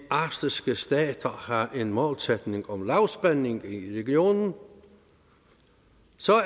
arktiske stater har en målsætning om lavspænding i regionen